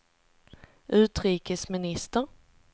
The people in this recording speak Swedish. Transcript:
utrikesminister